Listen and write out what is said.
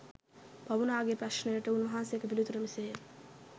බමුණාගේ ප්‍රශ්නයට උන්වහන්සේගේ පිළිතුර මෙසේය.